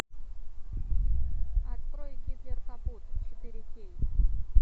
открой гитлер капут четыре кей